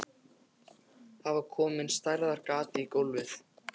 Það var komið stærðar gat í gólfið.